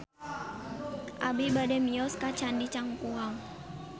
Abi bade mios ka Candi Cangkuang